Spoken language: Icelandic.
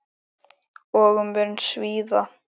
Og mun svíða.